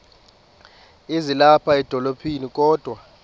ezilapha edolophini kodwa